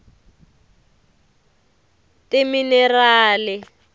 timinerali